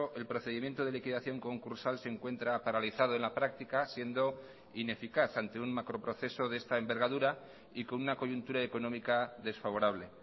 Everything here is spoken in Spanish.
el procedimiento de liquidación concursal se encuentra paralizado en la práctica siendo ineficaz ante un macroproceso de esta envergadura y con una coyuntura económica desfavorable